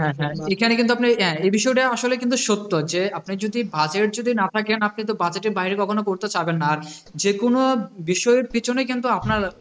হ্যাঁ হ্যাঁ এখানে কিন্তু আপনি হ্যাঁ এই বিষয়টা আসলে কিন্তু সত্য যে আপনার যদি budget যদি না থাকে আপনি কিন্তু budget এর বাইরে কখনও করতে ছাড়বেন না, যেকোনো বিষয়ের পেছনেই কিন্তু আপনার